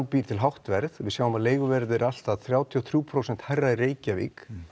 býr til hátt verð og við sjáum að leiguverð er allt að þrjátíu og þrjú prósent hærra í Reykjavík